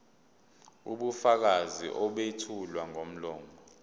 ubufakazi obethulwa ngomlomo